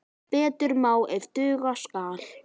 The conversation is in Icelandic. Betur má ef duga skal!